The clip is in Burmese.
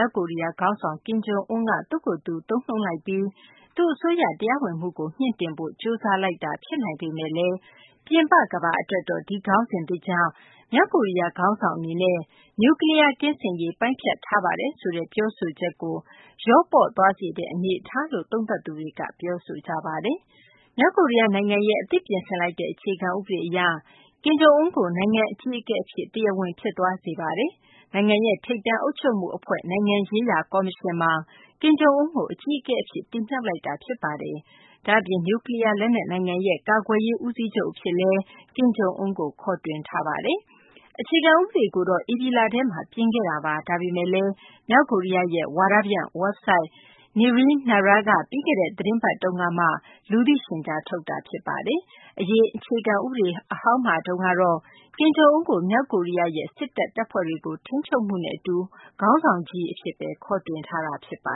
ောက်ကိုရီးယား ခေါင်းဆောင် ကင်ဂျုံအွန်းက သူ့ကိုယ်သူ သုံးနှုန်းလိုက်ပြီး သူ့အစိုးရ တရားဝင်မှုကို မြှင့်တင်ဖို့ ကြိုးစားလိုက်တာ ဖြစ်နိုင်ပေမဲ့လည်း ပြင်ပ ကမ္ဘာအတွက်တော့ ဒီခေါင်းစဉ်သစ်ကြောင့် မြောက်ကိုရီးယား ခေါင်းဆောင် အနေနဲ့ နျူကလီးယား ကင်းစင်ရေး ပိုင်းဖြတ်ထားပါတယ်ဆိုတဲ့ ပြောဆိုချက်ကို လျော့ပါးသွားစေတဲ့ အနေအထားလို့ သုံးသပ်သူတွေက ပြောဆိုကြပါတယ်။ မြောက်ကိုရီးယား နိုင်ငံရဲ့ အသစ်ပြင်ဆင်လိုက်တဲ့ အခြေခံ ဥပဒေအရ ကင်ဂျုံအွန်းကို နိုင်ငံအကြီးအကဲအဖြစ် တရားဝင် ဖြစ်သွားစေပါတယ်။ နိုင်ငံရဲ့ ထိပ်တန်း အုပ်ချုပ်မှု အဖွဲ့ နိုင်ငံရေးရာ ကော်မရှင်မှာ ကင်ဂျုံအွန်းကို အကြီးအကဲအဖြစ် တင်မြှောက်လိုက်တာ ဖြစ်ပါတယ်။ ဒ့ါအပြင် နျူကလီးယား လက်နက် နိုင်ငံရဲ့ ကာကွယ်ရေး ဦးစီးချုပ် အဖြစ်လည်း ကင်ဂျုံအွန်းကို ခေါ်တွင်လိုက်ပါတယ်။ အခြေခံ ဥပဒေကိုတော့ ဧပြီလထဲမှာ ပြင်ခဲ့တာပါ၊ ဒါပေမဲ့လည်း မြောက်ကိုရီးယားရဲ့ ဝါဒဖြန့် ဝက်ဘ်ဆိုက် Naenaraက ပြီးခဲ့တဲ့ သတင်းပတ် တုန်းကမှာ လူသိရှင်ကြား ထုတ်တာ ဖြစ်ပါတယ်။ အရင် အခြေခံ ဥပဒေ အဟောင်းမှာတုန်းကတော့ ကင်ဂျုံအွန်းကို မြောက်ကိုရီးယားရဲ့ စစ်တပ် တပ်ဖွဲ့တွေကို ထိန်းချုပ်မှုနဲ့ အတူ ခေါင်းဆောင်ကြီး အဖြစ်ပဲ ခေါ်တွင်ထားတာပါ